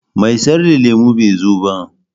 Mai sayar da lemu bai zo ba.